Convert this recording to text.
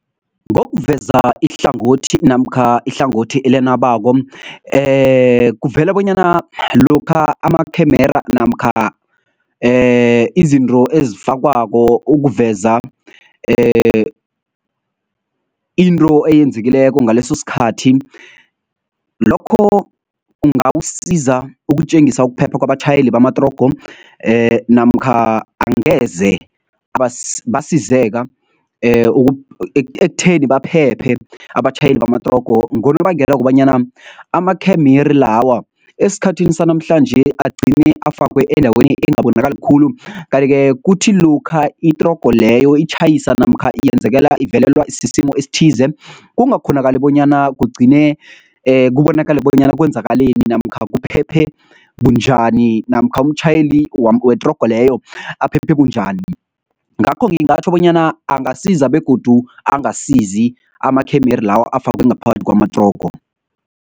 Ngokuveza ihlangothi namkha ihlangothi elenabako, kuvela bonyana lokha amakhemera namkha izinto ezifakwako ukuveza into eyenzekileko ngaleso sikhathi lokho kungakusiza ukutjengisa ukuphepha kwabatjhayeli bamatrogo namkha angeze basizeka ekutheni baphephe abatjhayeli bamatrogo ngonobangela wokobanyana amakhemere lawa esikhathini sanamhlanje agcine afakwe endaweni engabonakali khulu. Kanti-ke kuthi lokha itrogo leyo itjhayisa namkha yenzekela, ivelelwa sisimo esithize kungakhonakali bonyana kugcine kubonakale bonyana kwenzakaleni namkha kuphephe bunjani, namkha umtjhayeli wetrogo leyo aphephe bunjani. Ngakho ngingatjho bonyana angasiza begodu angasizi amakhemere lawo afakwe ngaphakathi kwamatrogo.